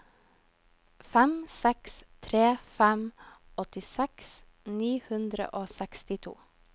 fem seks tre fem åttiseks ni hundre og sekstito